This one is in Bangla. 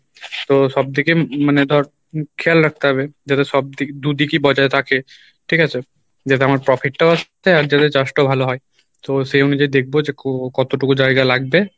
তো সবদিকে মানে ধর খেয়াল রাখতে হবে যাতে সব দিক দুদিকই বজায় থাকে ঠিক আছে? যাতে আমার profit টাও আসে আর যেন চাষ টাও ভালো হয় তো সেই অনুযায় দেখবো যে ক~কতটুকু জায়গা লাগবে